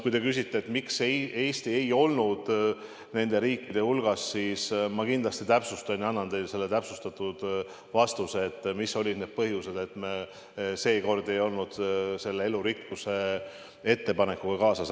Kui te küsite, miks Eesti ei olnud nende riikide hulgas, siis ma kindlasti täpsustan ja annan teile täpsustatud vastuse, mis olid need põhjused, et me seekord ei läinud selle elurikkuse ettepanekuga kaasa.